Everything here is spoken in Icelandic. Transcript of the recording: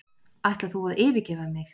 ætlar þú að yfirgefa mig